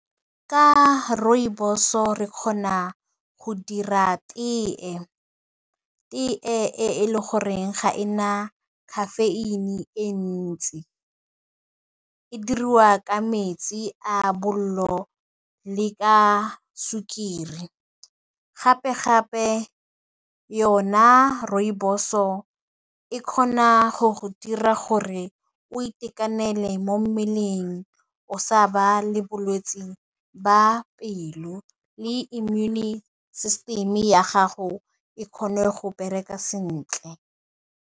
Ka rooibos-o re kgona go dira tee, tee e le goreng ga e na caffeine e ntsi, e diriwa ka metsi a bollo le ka sukiri, gape gape yona rooibos-o e kgona go go dira gore o itekanele mo mmeleng, o sa ba le bolwetsi ba pelo le immune system ya gago e kgone go bereka sentle.